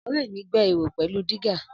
Ọ̀rẹ́ mi gbẹ́ ihò pẹ̀lú dígà